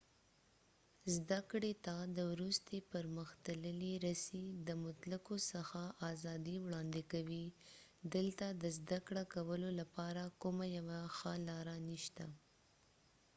زده کړې ته د وروستې پرمختللې رسي د مطلقو څخه آزادي وړاندې کوي دلته د زده کړه کولو لپاره کومه یوه ښه لاره نشته